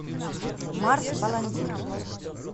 марс баландин